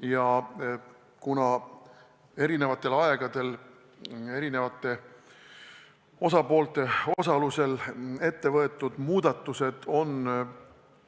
Ja kuna eri aegadel on mitme osapoole osalusel ette võetud muudatused